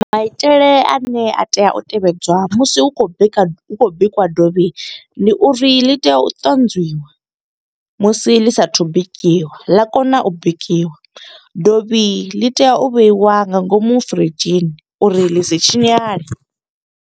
Maitele ane a tea u tevhedzwa, musi hu khou bika, hu khou bikiwa dovhi. Ndi uri ḽi tea u ṱanzwiwa musi ḽi saathu u bikiwa, ḽa kona u bikiwa. Dovhi ḽi tea u vheiwa nga ngomu fridzhini, uri ḽi si tshinyale.